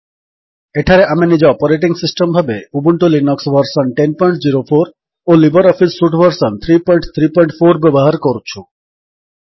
ଏଠାରେ ଆମେ ନିଜ ଅପରେଟିଙ୍ଗ୍ ସିଷ୍ଟମ୍ ଭାବେ ଉବୁଣ୍ଟୁ ଲିନକ୍ସ ଭର୍ସନ୍ 1004 ଓ ଲିବର୍ ଅଫିସ୍ ସୁଟ୍ ଭର୍ସନ୍ 334 ବ୍ୟବହାର କରୁଛୁ